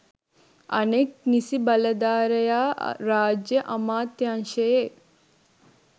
අනෙක් නිසි බලධරයා රාජ්‍ය අමාත්‍යංශයේ